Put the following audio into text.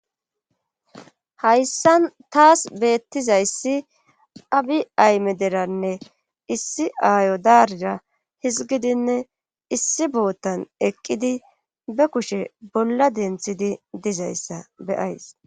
Hayssan taas beettizayssi abi ayme deranne issi aayo daarira hizgidinne issi boottan eqqidi be kushe bolla denthidi dizayssa beyays